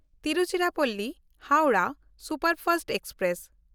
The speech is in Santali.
ᱛᱤᱨᱩᱪᱤᱨᱟᱯᱚᱞᱞᱤ–ᱦᱟᱣᱲᱟᱦ ᱥᱩᱯᱟᱨᱯᱷᱟᱥᱴ ᱮᱠᱥᱯᱨᱮᱥ